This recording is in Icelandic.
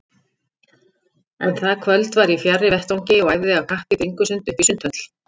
En það kvöld var ég fjarri vettvangi og æfði af kappi bringusund uppí Sundhöll.